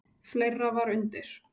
Fleira var undir.